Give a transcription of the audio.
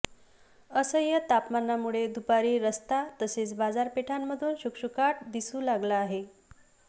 असह्य तापमानामुळे दुपारी रस्ता तसेच बाजारपेठांमधून शुकशुकाट दिसू लागला आहे